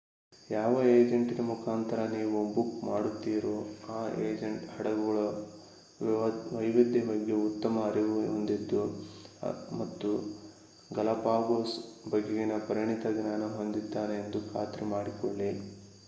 ಯಾವ ಏಜೆಂಟಿನ ಮುಖಾಂತರ ನೀವು ಬುಕ್ ಮಾಡಿರುತ್ತೀರೋ ಆ ಏಜೆಂಟ್ ಹಡಗುಗಳ ವೈವಿಧ್ಯತೆ ಬಗ್ಗೆ ಉತ್ತಮ ಅರಿವು ಹೊಂದಿದ್ದು ಮತ್ತು ಗಲಪಾಗೋಸ್ ಬಗೆಗಿನ ಪರಿಣಿತ ಜ್ಞಾನ ಹೊಂದಿದ್ದಾನೆ ಎಂದು ಖಾತ್ರಿ ಮಾಡಿಕೊಳ್ಳಿ